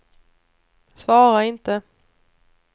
svara inte